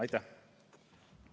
Aitäh!